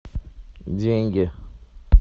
деньги